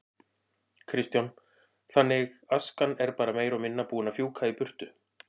Kristján: Þannig askan er bara meira og minna búin að fjúka í burtu?